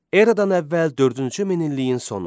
Eradan əvvəl dördüncü min illiyin sonu.